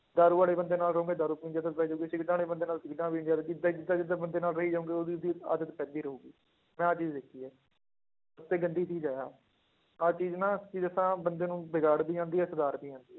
ਦਾਰੂ ਵਾਲੇ ਬੰਦੇ ਨਾਲ ਰਹੋਗੇ ਦਾਰੂ ਪੀਣ ਦੀ ਆਦਤ ਪੈ ਜਾਊਗੀ, ਸਿਗਰਟਾਂ ਵਾਲੇ ਬੰਦੇ ਨਾਲ ਸਿਗਰਟਾਂ ਪੀਣ ਦੀ ਆਦਤ ਏਦਾਂ ਜਿੱਦਾਂ ਜਿੱਦਾਂ ਬੰਦੇ ਨਾਲ ਰਹੀ ਜਾਓਗੇ ਉਹਦੀ ਉਹਦੀ ਆਦਤ ਪੈਂਦੀ ਰਹੇਗੀ, ਮੈਂ ਆਹ ਚੀਜ਼ ਦੇਖੀ ਹੈ ਤੇ ਗੰਦੀ ਚੀਜ਼ ਹੈ ਆਹ, ਆਹ ਚੀਜ਼ ਨਾ ਕੀ ਦੱਸਾਂ ਬੰਦੇ ਨੂੰ ਵਿਗਾੜ ਵੀ ਜਾਂਦੀ ਹੈ ਸੁਧਾਰ ਵੀ ਜਾਂਦੀ ਹੈ,